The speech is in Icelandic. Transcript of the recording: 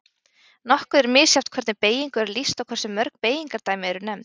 nokkuð er misjafnt hvernig beygingu er lýst og hversu mörg beygingardæmi eru nefnd